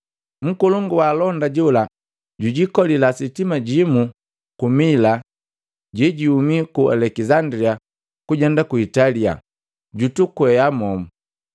Nkolongu wa alonda jola jilikolila sitima limu ku Mila lelihuma ku Alekisandilia kujenda ku Italia, jutukwea momu.